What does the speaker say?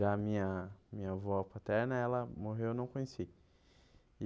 Já a minha minha avó paterna, ela morreu e eu não conheci.